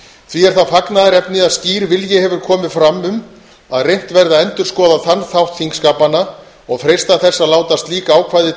því er það fagnaðarefni að skýr vilji hefur komið fram um að reynt verði að endurskoða þann þátt þingskapanna og freista þess að láta slík ákvæði